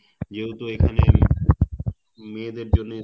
যেহেতু এখানে মেয়েদের জন্যে